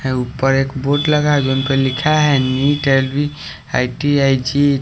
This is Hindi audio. है ऊपर एक बोर्ड लगा है जिन पर लिखा है नीट आई_टी_आई जी --